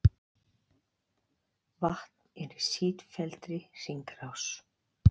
Vatn er í sífelldri hringrás.